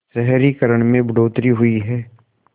शहरीकरण में बढ़ोतरी हुई है